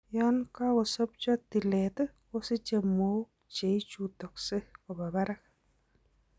Yoon kakosobcho tileet kosiche mook cheichutoksee koba barak